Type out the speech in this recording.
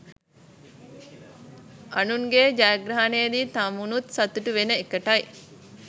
අනුන්ගේ ජයග්‍රහණයේදි තමනුත් සතුටු වෙන එකටයි